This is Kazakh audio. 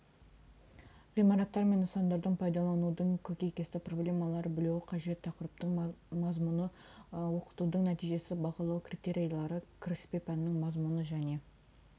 ғимараттар мен нысандардың пайдаланудың көкейкесті проблемалары білуі қажет тақырыптың мазмұны оқытудың нәтижесі бағалау критериялары кіріспе пәннің мазмұны және